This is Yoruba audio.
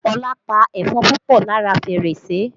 Olá pa ẹ̀fọn púpọ̀ lára fèrèsé